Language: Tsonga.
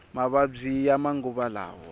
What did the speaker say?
mavabyi ya manguva lawa